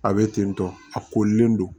A bɛ ten tɔ a korilen don